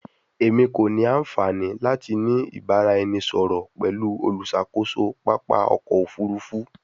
Emi ko ni anfani lati ni ibaraẹnisọrọ pẹlu oluṣakoso papa ọkọ ofurufu